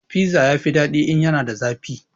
Fiza ya fi daɗi in yana da zafi